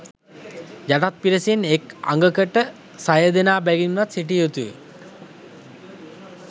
යටත් පිරිසෙන් එක් අඟකට සයදෙනා බැගින්වත් සිටිය යුතුය